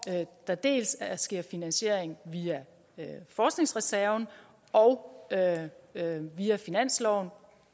der dels sker finansiering via forskningsreserven og via finansloven